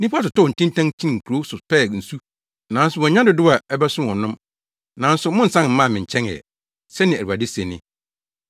Nnipa totɔɔ ntintan kyinii nkurow so pɛɛ nsu nanso wɔannya dodow a ɛbɛso wɔn nom, nanso monnsan mmaa me nkyɛn ɛ,” sɛnea Awurade se ni.